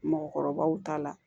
Mɔgɔkɔrɔbaw ta la